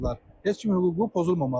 heç kimin hüququ pozulmamalıdır.